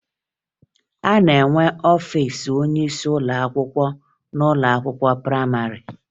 A na-enwe ọfiisi onyeisi ụlọakwụkwọ n'ụlọakwụkwọ prayịmarị